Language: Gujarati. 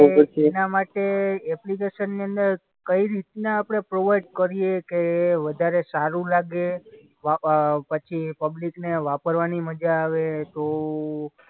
એના માટે એપ્લિકેશનની અંદર કઈ રીતના આપણે પ્રોવાઈડ કરીએ કે વધારે સારું લાગે, વા અ પછી પબ્લિકને વાપરવાની મજા આવે તો